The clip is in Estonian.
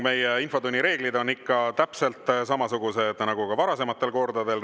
Meie infotunni reeglid on ikka täpselt samasugused nagu ka varasematel kordadel.